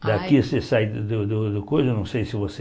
Daqui você sai do do do coisa, não sei se você...